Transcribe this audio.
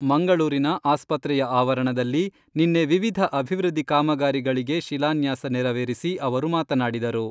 ಮಂಗಳೂರಿನ ಆಸ್ಪತ್ರೆಯ ಆವರಣದಲ್ಲಿ ನಿನ್ನೆ ವಿವಿಧ ಅಭಿವೃದ್ಧಿ ಕಾಮಗಾರಿಗಳಿಗೆ ಶಿಲಾನ್ಯಾಸ ನೆರವೇರಿಸಿ ಅವರು ಮಾತನಾಡಿದರು.